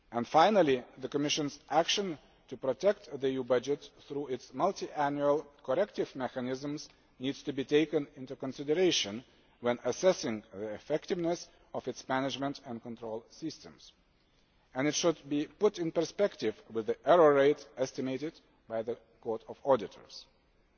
Finally, the Commission's action to protect the EU budget through its multiannual corrective mechanisms needs to be taken into consideration when assessing the effectiveness of its management and control systems. It should be put in perspective with the error rate estimated by the Court of Auditors.